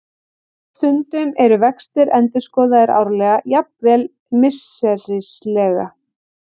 Stundum eru vextir endurskoðaðir árlega, jafnvel misserislega.